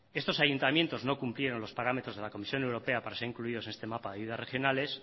estos ayuntamientos no cumplieron los parámetros de la comisión europea para ser incluidos en este mapa de ayudas regionales